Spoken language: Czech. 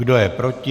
Kdo je proti?